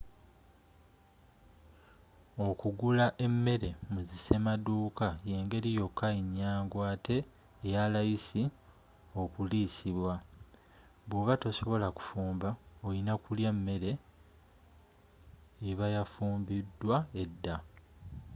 okugula emmere mu zi semaduuka yengeri yokka enyangu ate eyalayisi okuliisibwa woba tosobola kufumba orina kulya mmere ebayafumbidwa edda